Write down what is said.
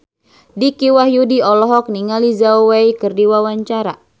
Dicky Wahyudi olohok ningali Zhao Wei keur diwawancara